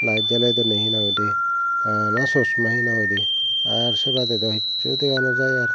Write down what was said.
light joley joley he nang hoi de bana chosma he nang hoi de ar se bade do hichu dega nojai aar.